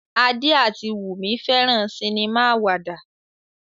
Ade ati Wumi feran sinima awada.